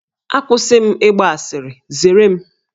Akwụsị m ịgba asịrị, zere m!